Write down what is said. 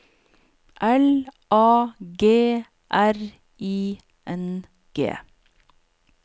L A G R I N G